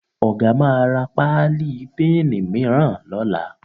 Ọ̀ga máa ra páálí píìnì mìíràn lọ́la